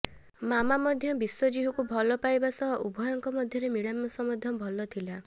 ମାମା ମଧ୍ୟ ବିଶ୍ୱଜିତ୍କୁ ଭଲ ପାଇବା ସହ ଉଭୟଙ୍କ ମଧ୍ୟରେ ମିଳାମିଶା ମଧ୍ୟ ଭଲ ଥିଲା